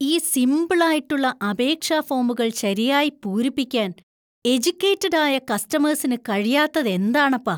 ഈ സിംപിൾ ആയിട്ടുള്ള അപേക്ഷാ ഫോമുകൾ ശരിയായി പൂരിപ്പിക്കാൻ എജുക്കേറ്റഡ് ആയ കസ്റ്റമേഴ്സിന് കഴിയാത്തതെന്താണപ്പാ!